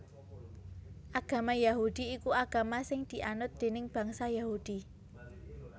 Agama Yahudi iku agama sing dianut déning bangsa Yahudi